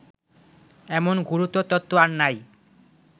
এমন গুরুতর তত্ত্ব আর নাই